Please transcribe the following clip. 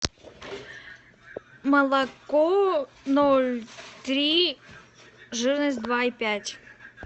молоко ноль три жирность два и пять